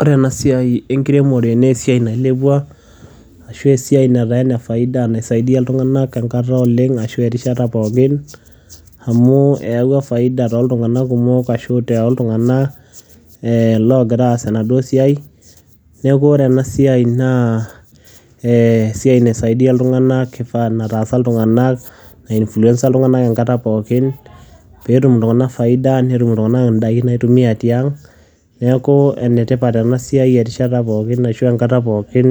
ore ena siai enkiremore naa esiai nailepua ashu esiai nataa ene faida naisaidia iltunganak enkata oleng ashu erishata pookin. amu eyawua faida tooltunganak kumok ashu tooltunganak loogira aaas enaduo siai. neeku ore ena siai naa esiai naisaidia iltunganak enetaasa iltunganak. nai influencer iltunganak enkata pookin. pee etum iltunganak faida. netum iltunganak idaiki naitumia tiang neeku entipat ena siai erishata pookin ashu enkata pookin